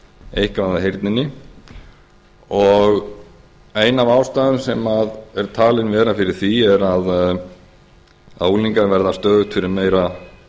eitthvað af heyrninni ein af ástæðunum sem er talin vera fyrir því er að unglingar verða stöðugt fyrir meira